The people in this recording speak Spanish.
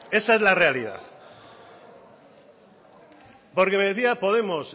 esa es la realidad porque me decía podemos